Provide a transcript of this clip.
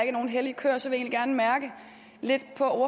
er nogen hellige køer så vil jeg egentlig gerne mærke lidt på